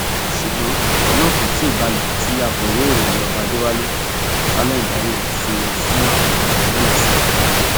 ṣùgbọn ọrọ náà kò tí ì balẹ tí akọwé ìròyìn ọba adéwálé allen ibrahim fi fún àwọn bàbá náà lésì